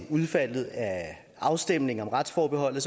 udfaldet af afstemningen om retsforbeholdet